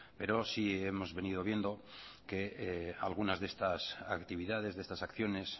pero sí hemos venido viendo que algunas de estas actividades de estas acciones